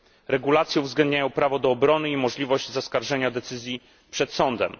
Regulacje uwzględniają prawo do obrony i możliwość zaskarżenia decyzji przed sądem.